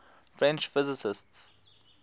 french physicists